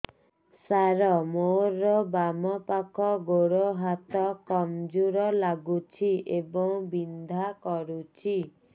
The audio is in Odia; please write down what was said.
ସାର ମୋର ବାମ ପାଖ ଗୋଡ ହାତ କମଜୁର ଲାଗୁଛି ଏବଂ ବିନ୍ଧା କରୁଛି